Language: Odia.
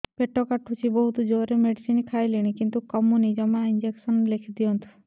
ପେଟ କାଟୁଛି ବହୁତ ଜୋରରେ ମେଡିସିନ ଖାଇଲିଣି କିନ୍ତୁ କମୁନି ଜମା ଇଂଜେକସନ ଲେଖିଦିଅନ୍ତୁ